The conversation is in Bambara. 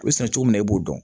U bɛ sɛnɛ cogo min na i b'o dɔn